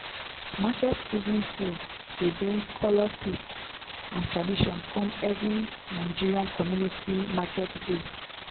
market season food dey bring colour taste and tradition come every nigerian community market day.